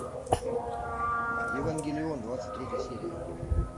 евангелион двадцать третья серия